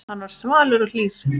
Hann var svalur og hlýr.